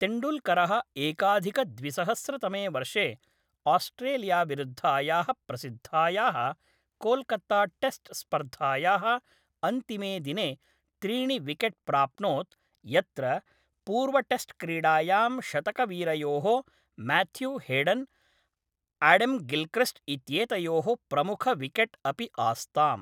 तेण्डूल्करः एकाधिकद्विसहस्रतमे वर्षे आस्ट्रेलियाविरुद्धायाः प्रसिद्धायाः कोल्कत्ताटेस्ट् स्पर्धायाः अन्तिमे दिने त्रीणि विकेट् प्राप्नोत्, यत्र पूर्वटेस्ट्क्रीडायां शतकवीरयोः म्याथ्यूहेडन्, आडम्गिल्क्रिस्ट् इत्येतयोः प्रमुखविकेट् अपि आस्ताम्।